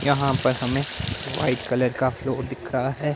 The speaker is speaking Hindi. यहां पर हमें व्हाइट कलर का फ्लोर दिख रहा है।